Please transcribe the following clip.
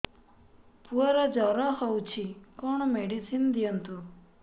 ପୁଅର ଜର ହଉଛି କଣ ମେଡିସିନ ଦିଅନ୍ତୁ